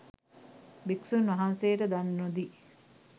භික්ෂූන් වහන්සේට දන් නොදී